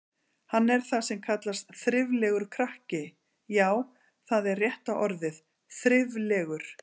Hann er það sem kallast þriflegur krakki, já, það er rétta orðið, þriflegur.